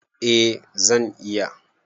Eh zan iya